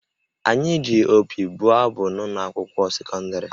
Anyị ji opi bụọ abụ n’ụlọ akwụkwọ sekọndịrị